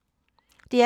DR P3